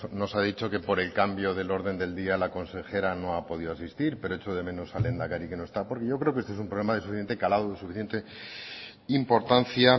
nos ha dicho que por el cambio del orden del día la consejera no ha podido asistir pero echo de menos al lehendakari que no está porque yo creo que este es un problema de suficiente calado de suficiente importancia